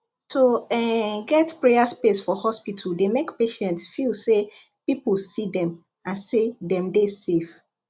to um get prayer space for hospital dey make patients feel say people see them and say dem dey safe